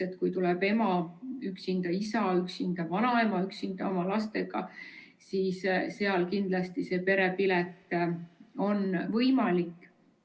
Ehk kui tuleb ema üksinda, isa üksinda või vanaema üksinda oma lastega, siis neile kindlasti perepilet on võimaldatud.